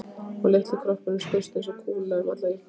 Og litli kroppurinn skaust eins og kúla um alla íbúðina.